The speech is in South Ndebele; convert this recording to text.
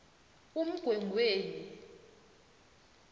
umgwengweni